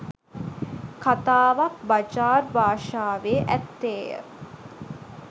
කතාවක්‌ බජාර් භාෂාවේ ඇත්තේය